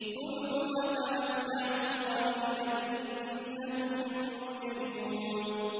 كُلُوا وَتَمَتَّعُوا قَلِيلًا إِنَّكُم مُّجْرِمُونَ